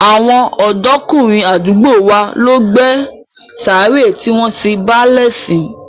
Àwọn ọ̀dọ́kùnrin àdúgbò wa ló gbé sàárè tí wọ́n sin báálẹ̀ sí